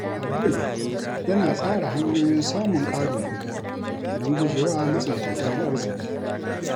Abdul yana tsara hanyoyin samun ƙarin kuɗi don guje wa matsin tattalin arziki.